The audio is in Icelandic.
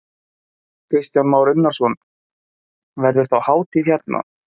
Kristján Már Unnarsson: Verður þá hátíð hérna?